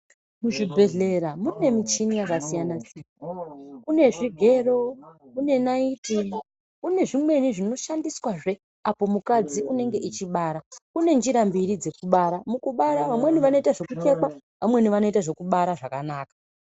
Muzvibhedhlera mune michini yakasiyana siyana kune zvigwaro, kune naiti kune zvimweni zvinoshandiswazve apo mukadzi unenge echibara, kune njira mbiri dzekubaira mukubara vamweni vanoita zvekuchekwa, vamweni vanoita zvekubara zvakanaka.